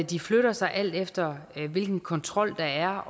de flytter sig alt efter hvilken kontrol der